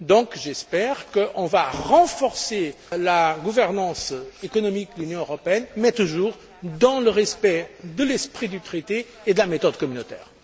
Donc j'espère qu'on va renforcer la gouvernance économique de l'Union européenne, mais toujours dans le respect de l'esprit du Traité et de la méthode communautaire.